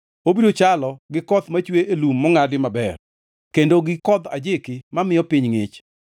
Obiro chalo gi koth machwe e lum mongʼadi maber kendo gi kodh ajiki mamiyo piny ngʼich.